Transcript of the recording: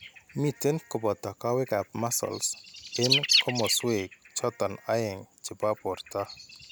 Miten koboto kowekap muscles eng' komaswek choto aeng' ne po borto.